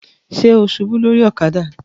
Ṣe o ṣubu lori ọ̀kadà?